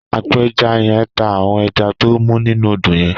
Àpèjá yèn n tá áwòn èjá tó mú ninú ódó yèn